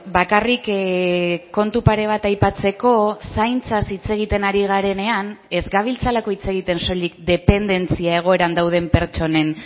bakarrik kontu pare bat aipatzeko zaintzaz hitz egiten ari garenean ez gabiltzalako hitz egiten soilik dependentzia egoeran dauden pertsonen